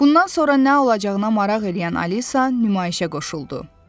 Bundan sonra nə olacağına maraq eləyən Alisa nümayişə qoşuldu.